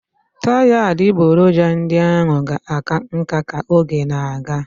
Taya adịgboroja ndị ahụ ga-aka nká ka oge na-aga.